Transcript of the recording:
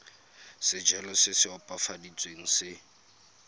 sejalo se se opafaditsweng se